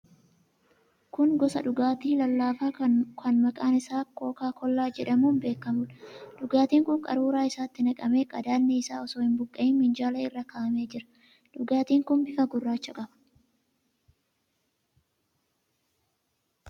Kun gosa dhugaatii lallaafaa kan maqaan isaa kookaa kollaa jedhamuun beekamuudha. Dhugaatiin kun qaruuraa isaatti naqamee, qadaadni isaa osoo hin buqqa'in minjaala irra kaa'amee jira. Dhugaatiin kun bifa gurraacha qaba.